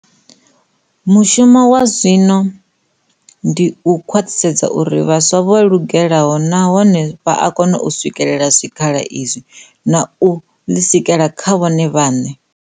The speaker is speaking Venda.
Mushumo washu zwazwino ndi u khwaḽhisedza uri vhaswa vho lugela nahone vha a kona u swikelela zwikhala izwi, na u ḽisikela zwa vhone vhaḽe.